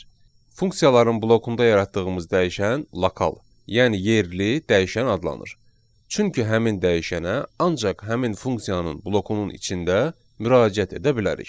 Funksiyaların blokunda yaratdığımız dəyişən lokal, yəni yerli dəyişən adlanır, çünki həmin dəyişənə ancaq həmin funksiyanın blokunun içində müraciət edə bilərik.